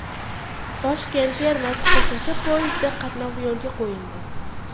Toshkent-Termiz qo‘shimcha poyezdi qatnovi yo‘lga qo‘yildi.